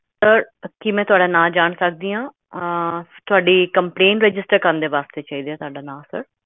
sir ਕੀ ਮੈ ਤੁਹਾਡਾ ਨਾਮ ਜਾਣ ਸਕਦੀ ਹਾਂ ਆਹ ਤੁਹਾਡੀ complaint register ਕਰਨ ਦੇ ਵਾਸਤੇ ਚਾਹੀਦਾ ਤੁਹਾਡਾ ਨਾਮ